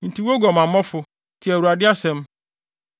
“ ‘Enti, wo oguamanfo, tie Awurade asɛm!